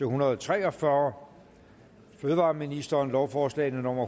hundrede og tre og fyrre fødevareministeren lovforslag nummer